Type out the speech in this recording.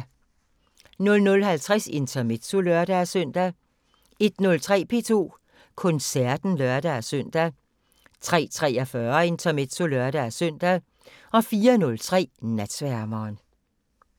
00:50: Intermezzo (lør-søn) 01:03: P2 Koncerten (lør-søn) 03:43: Intermezzo (lør-søn) 04:03: Natsværmeren